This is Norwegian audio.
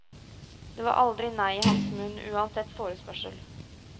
Det var aldri nei i hans munn, uansett forespørsel.